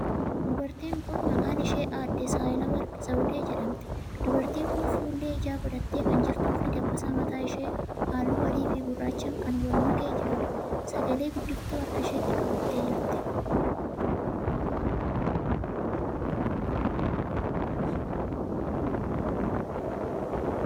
Dubartiin kuni maqaan ishee aadde Sahalaworq Zawudee jedhamti. Dubartiin kuni fuullee ijaa godhattee kan jirtuu fi dabbasaan mataa ishee haalluu adii fi gurraachan kan wal makee jiruudha. Sagale guddiftuu harka isheetti qabattee jirti.